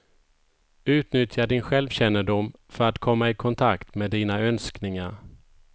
Utnyttja din självkännedom för att komma i kontakt med dina önskningar.